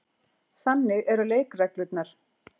Þannig eru leikreglurnar.